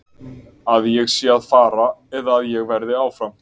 Að ég sé að fara eða að ég verði áfram?